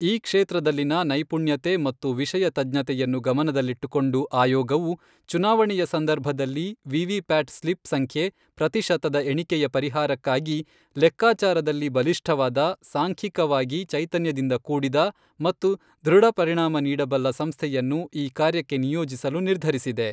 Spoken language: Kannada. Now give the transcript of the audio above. ಈ ಕ್ಷೇತ್ರದಲ್ಲಿನ ನೈಪುಣ್ಯತೆ ಮತ್ತು ವಿಷಯ ತಜ್ಞತೆಯನ್ನು ಗಮನದಲ್ಲಿಟ್ಟುಕೊಂಡು ಆಯೋಗವು, ಚುನಾವಣೆಯ ಸಂದರ್ಭದಲ್ಲಿ ವಿವಿಪ್ಯಾಯಾಟ್ ಸ್ಲಿಪ್ ಸಂಖ್ಯೆ ಪ್ರತಿಶತದ ಎಣಿಕೆಯ ಪರಿಹಾರಕ್ಕಾಗಿ ಲೆಕ್ಕಾಚಾರದಲ್ಲಿ ಬಲಿಷ್ಠವಾದ, ಸಾಂಖ್ಯಿಕವಾಗಿ ಚೈತನ್ಯದಿಂದ ಕೂಡಿದ ಮತ್ತು ದೃಢ ಪರಿಹಾರ ನೀಡಬಲ್ಲ ಸಂಸ್ಥೆಯನ್ನು ಈ ಕಾರ್ಯಕ್ಕೆ ನಿಯೋಜಿಸಲು ನಿರ್ಧರಿಸಿದೆ.